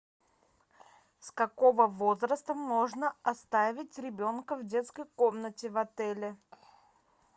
с какого возраста можно оставить ребенка в детской комнате в отеле